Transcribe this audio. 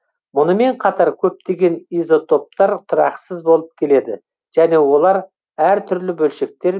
мұнымен қатар көптеген изотоптар тұрақсыз болып келеді және олар әр түрлі бөлшектер